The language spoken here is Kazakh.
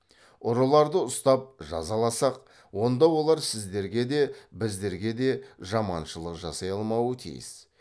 ұрыларды ұстап жазаласақ онда олар сіздерге де біздерге де жаманшылық жасай алмауы тиіс